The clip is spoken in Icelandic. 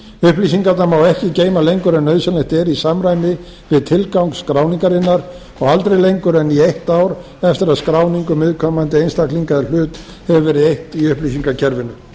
upplýsingarnar má ekki geyma lengur en nauðsynlegt er í samræmi við tilgang skráningarinnar og aldrei lengur en í eitt ár eftir að skráningu viðkomandi einstaklinga eða hlut hefur verið eytt í upplýsingakerfinu